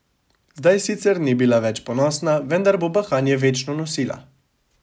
Zdaj sicer ni bila več ponosna, vendar bo bahanje večno nosila.